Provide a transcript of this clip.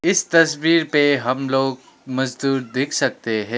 इस तस्वीर पे हम लोग मजदूर देख सकते है।